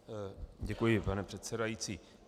Děkuji, pane předsedající.